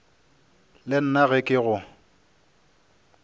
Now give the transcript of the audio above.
le nna ge ke go